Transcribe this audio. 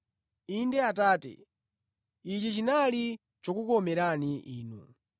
Inde, Atate, ichi chinali chokukomerani Inu.